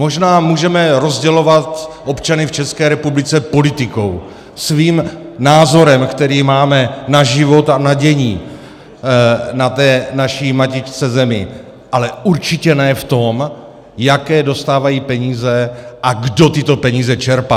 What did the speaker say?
Možná můžeme rozdělovat občany v České republice politikou, svým názorem, který máme na život a na dění na té naší matičce Zemi, ale určitě ne v tom, jaké dostávají peníze a kdo tyto peníze čerpá.